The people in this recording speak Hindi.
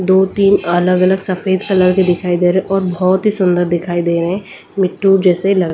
दो तीन अलग-अलग सफेद कलर के दिखाई दे रहे हैं और बहुत ही सुंदर दिखाई दे रहे हैं मिट्टो जैसे --